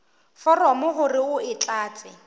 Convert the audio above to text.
foromo hore o e tlatse